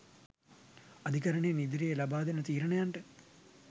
අධිකරණයෙන් ඉදිරියේදී ලබාදෙන තීරණයට